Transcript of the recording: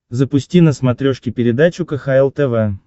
запусти на смотрешке передачу кхл тв